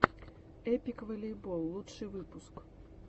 эпик волейбол лучший выпуск